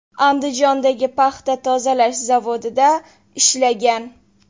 Andijondagi paxta tozalash zavodida ishlagan.